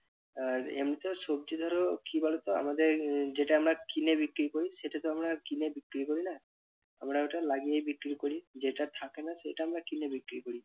আর এমনিতেও সবজি ধরো কি বলতো আমাদের যেটা আমরা কিনে বিক্রি করি সেটা তো আমরা কিনে বিক্রি করি না। আমরা ওটা লাগিয়ে বিক্রি করি যেটা থাকে না সেটা আমরা কিনে বিক্রি করি।